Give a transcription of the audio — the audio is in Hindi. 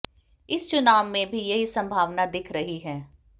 इस चुनाव में भी यही संभावना दिख रही है